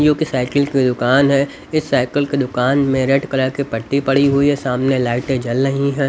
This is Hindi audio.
योकी साइकिल की दुकान है इस साइकिल की दुकान में रेड कलर के पट्टी पड़ी हुई सामने लाइटे जल रही है।